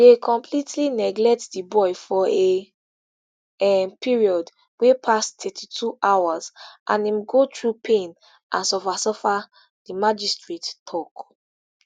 dey completely neglect di boy for a um period wey pass thirty-two hours and im go through pain and suffer suffer di magistrate tok